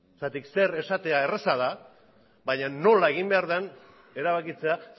zer esatea erreza da baina nola egin behar den erabakitzea